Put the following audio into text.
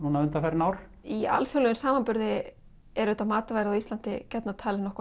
undanfarin ár í alþjóðlegum samanburði er auðvitað matarverð á Íslandi gjarnan talið